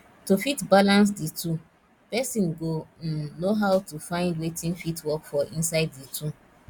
to fit balance di two person go um know how to find wetin fit work for inside di two